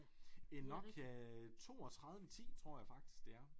En Nokia 32 10 tror jeg faktisk det er